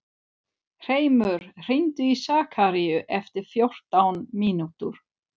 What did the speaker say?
Hreimur, hringdu í Sakaríu eftir fjórtán mínútur.